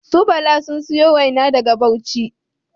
Su Bala sun siyo waina daga bauchi